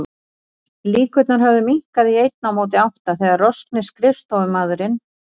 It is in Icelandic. Líkurnar höfðu minnkað í einn á móti átta þegar roskni skrifstofumaðurinn